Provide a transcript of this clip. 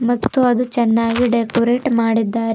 ಮತ್ತು ಅದು ಚೆನ್ನಾಗಿ ಡೆಕೋರೇಟ್ ಮಾಡಿದ್ದಾರೆ.